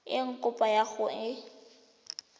eng kopo ya gago e